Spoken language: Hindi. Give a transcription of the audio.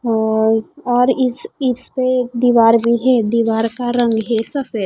और और इस इसपे दीवार भी है दीवार का रंग है सफे--